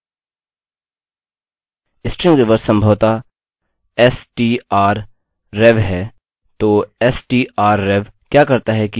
तो strrev क्या करता है कि यह स्ट्रिंग के कंटेंट्स को रिवर्स करता है